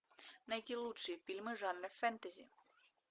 найти лучшие фильмы жанра фэнтези